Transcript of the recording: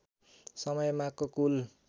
समय मागको कुल